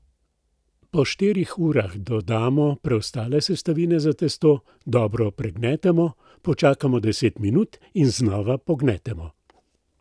Po štirih urah dodamo preostale sestavine za testo, dobro pregnetemo, počakamo deset minut in znova pognetemo.